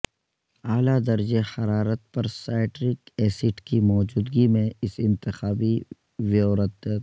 اعلی درجہ حرارت پر سائٹرک ایسڈ کی موجودگی میں اس انتخاب ویوردت